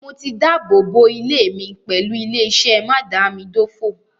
Mo ti dábòbò ilé mi pẹ̀lú ilé-iṣẹ́ mádàámidófò.